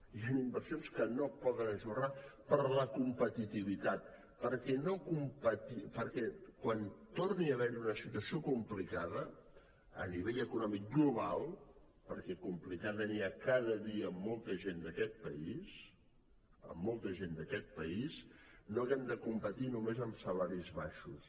hi han inversions que no es poden ajornar per la competitivitat perquè quan torni a haver hi una situació complicada a nivell econòmic global perquè de complicada cada dia en té molta gent d’aquest país molta gent d’aquest país no haguem de competir només en salaris baixos